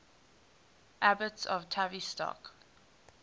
abbots of tavistock